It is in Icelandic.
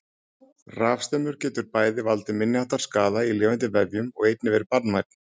Rafstraumur getur bæði valdið minniháttar skaða í lifandi vefjum og einnig verið banvænn.